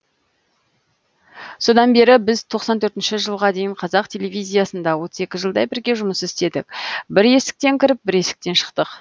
содан бері біз тоқсан төртінші жылға дейін қазақ телевизиясында отыз екі жылдай бірге жұмыс істедік бір есіктен кіріп бір есіктен шықтық